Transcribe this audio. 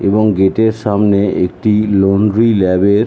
এবং গেটের সামনে একটি লন্ড্রি ল্যাব এর--